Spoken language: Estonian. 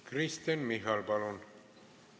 Kristen Michal, palun!